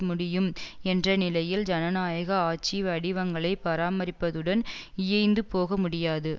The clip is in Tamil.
முடியும் என்றநிலையில் ஜனநாயக ஆட்சி வடிவங்களை பராமரிப்பதுடன் இயைந்துபோகமுடியாது